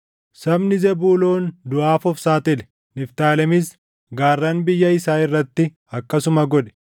Sabni Zebuuloon duʼaaf of saaxile; Niftaalemis gaarran biyya isaa irratti akkasuma godhe.